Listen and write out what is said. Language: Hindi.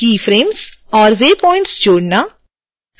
keyframes और waypoints जोड़ना